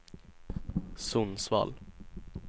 Sundsvall